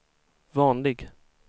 vanlig